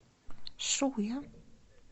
шуя